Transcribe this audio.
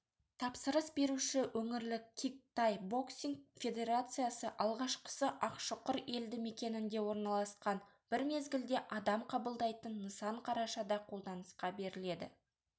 тапсырыс беруші өңірлік кик-тай боксинг федерациясы алғашқысы ақшұқыр елді мекенінде орналасқан бір мезгілде адам қабылдайтын нысан қарашада қолданысқа беріледі